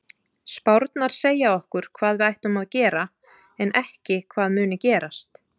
Spárnar segja okkur hvað við ættum að gera en ekki hvað muni gerast.